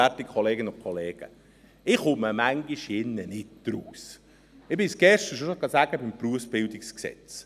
Ich habe es gestern schon zum Gesetz über die Berufsbildend, die Weiterbildung und die Berufsberatung (BerG) gesagt.